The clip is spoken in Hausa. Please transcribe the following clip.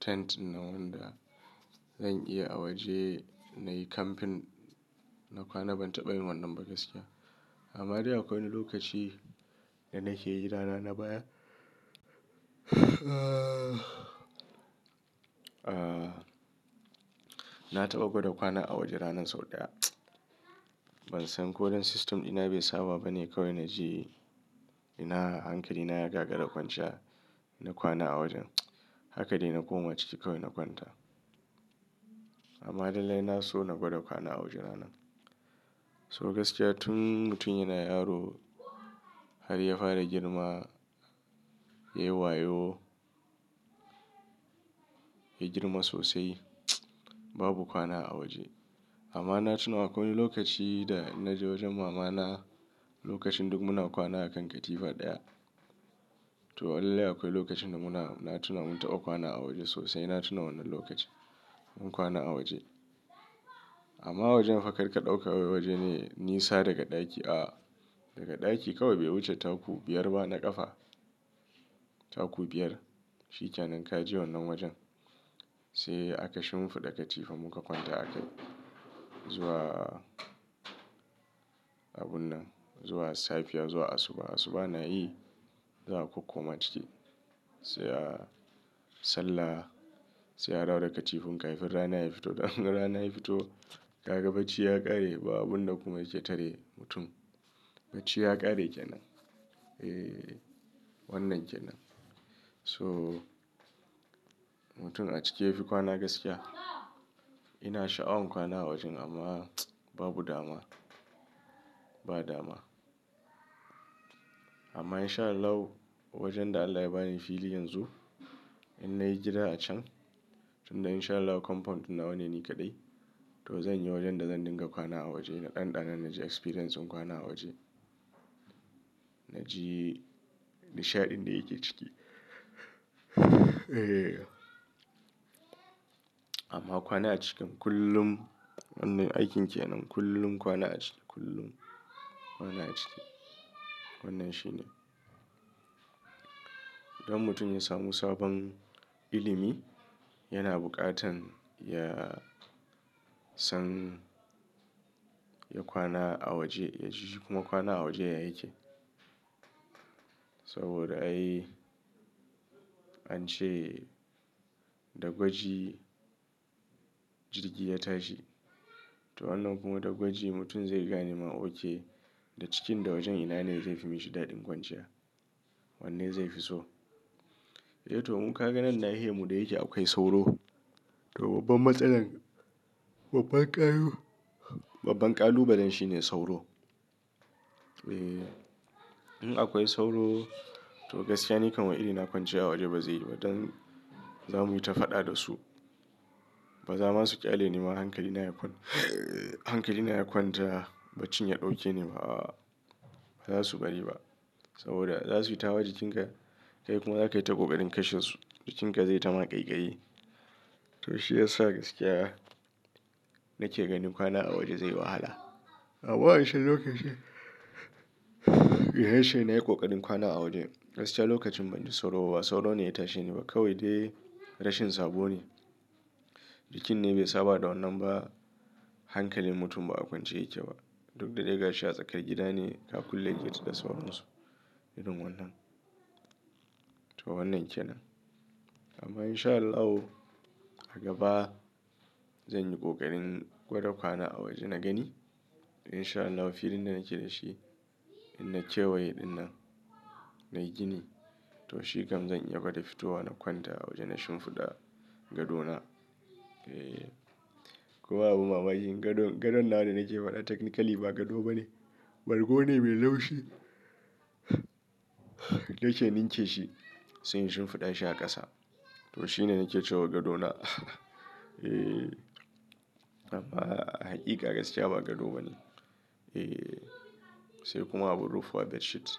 tent nawa da zan iya a waje na yi camping na kwana ban taɓa yin wannan ba gaskiya. Amma dai akwai wani lokaci da na ke gida na na baya aah na taɓa gwada kwana a waje ranar sau ɗaya. Ban san ko dan system dina bai saba ba ne kawai na ji ina hankali na ya gagara kwanciya na kwana a wajen. Haka dai na koma ciki kawai na kwanta. Amma lallai na so na gwada kwana a waje ranar. So gaskiya tun mutum yana yaro har ya fara girma ya yi wayo, ya girma sosai babu kwana a waje. Amma na tuna akwai wani lokaci da na je wajen mama na lokacin duk muna kwana a kan katifa ɗaya. To lallai akwai lokacin da muna tuna mun taɓa kwana a waje sosai na tuna wannan lokacin mun kwana a waje. Amma wajen fa kar ka ɗauka wai waje ne nisa daga ɗaki a daga ɗaki kawai bai wuce taku biyar ba na ƙafa taku biyar. Shi ka nan ka ji wannan wajen sai aka shimfiɗa katifa muka kwanta a kai zuwa abun nan zuwa safiya zuwa asuba. Asuba na yi za ka koma ciki sai a sallah sai a dawo katifun ka fin rana ya fito. Dan rana ya fito ka ga bacci ya ƙare babu abinda kuma yake tare mutum. Bacci ya ƙare kenan. Eee wannan kenan. So mutum a cike yafi kwana gaskiya. Ina sha'awan kwana a wajen amma babu dama ba dama. Amma in sha Allah wajen da Allah ya ba ni fili yanzu in na yi gida a can tunda in sha Allah compound na wane ni kadai to zan yi wajen da zan dinga kwana a waje na ɗanɗana na ji experience din kwana a waje. Na ji nishaɗin da yake ciki ee. Amma kwana a ciki kullum wannan aikin kenan kullum kwana a ciki kullum kwana a ciki wannan shine. Don mutum ya samu sabon ilimi yana buƙatan ya san ya kwana a waje ya ji shi kuma kwana a waje ya yake. Saboda ai an ce da gwaji jirgi ya tashi. To wannan kuma da gwaji mutum zai gani ma okay da cikin da wajen ina ne zai fi mishi daɗin kwanciya. Wanne zai fi so. Eh to mun kaga nan nahi yan mu da yake akwai sauro. To babban matsalar babban ƙalu babban ƙalubalen shine sauro. Eeh in akwai sauro to gaskiya nikan wai iri na kwanciya a waje ba zai yi ba don za mu yi ta faɗa da su. Ba za ma su ƙyale ni ba hankali na ya kwata hankali na ya kwanta bacci ya ɗauke ne ba ba za su bari ba saboda za su yi tawa jikinka kai kuma za ka yi ta ƙoƙarin kashe su jikinka zai yi ta maƙayiƙayi. To shi ya sa gaskiya nake ganin kwana a waje zai yi wahala. Amma wancen lokacin da nace nayi ƙoƙarin kwana a waje. Gaskiya lokacin banji sauro ba sauro ne ya tashe ni ba kawai dai rashin sabo ne. Jikin ne bai saba da wannan ba hankalin mutum ba a kwance yake ba. Duk da ɗai gashi a tsakar gida ne ka kulle gate da sauran su irin wannan. To wannan kenan. Amma in sha Allahu a gaba zan yi ƙoƙarin gwada kwana a waje na gani. In sha Allahu filin da nake da shi in na kewaye ɗin nan na yi gini to shi kam zan iya gwada fitowa na kwanta a waje na shimfiɗa gado na. Eee kuma abun mamaki gado gadon nawa da nake faɗa technically ba gado bane. Bargu ne mai laushi nake ninke shi sai in shimfiɗa shi a ƙasa. To shi ne nake cewa gado na ee amma a haƙiƙa gaskiya ba gado bane. Ee sai kuma abun rufuwa bedsheet.